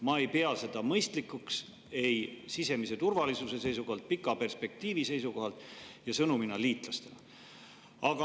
Ma ei pea seda mõistlikuks ei sisemise turvalisuse seisukohalt, pika perspektiivi seisukohalt ega sõnumina liitlastele.